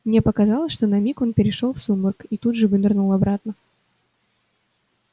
мне показалось что на миг он перешёл в сумрак и тут же вынырнул обратно